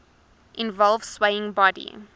involve swaying body